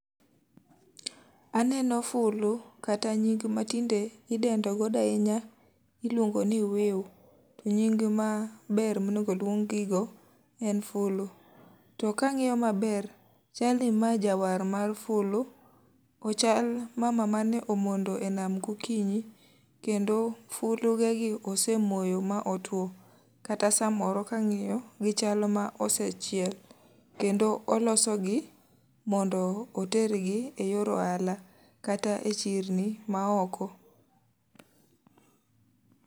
Aneno fulu, kata nying ma tinde idendo godo ahinya iluongo ni wiu, to nying ma ber ma onengo oluong gi go en fulu. To ka angíyo maber, chal ni ma jawar mar fulu. Ochal mama mane omondo e nam gokinyi, kendo fulu ge gi osemoyo ma otwo, kata sa moro ka angíyo, gichal ma osechiel. Kendo olosogi mondo otergi e yor ohala. Kata e chirni ma oko.